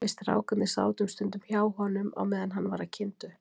Við strákarnir sátum stundum hjá honum á meðan hann var að kynda upp.